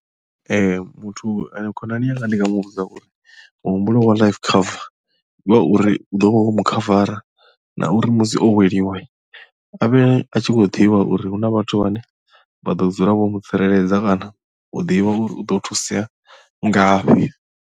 Ee muthu khonani yanga ndi nga muvhudza uri muhumbulo wa life cover ndi wa uri u ḓo vha wo mu khavara na uri musi o weliwa avhe a tshi khou ḓivha uri huna vhathu vhane vha ḓo dzula vho mu tsireledza kana u ḓivha uri u ḓo thusea ngafhi.